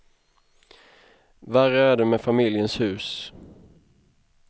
Värre är det med familjens hus.